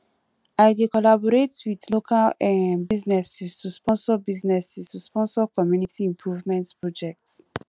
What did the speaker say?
i dey collaborate with local um businesses to sponsor businesses to sponsor community improvement projects